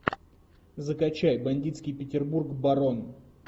закачай бандитский петербург барон